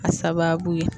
A sababu ye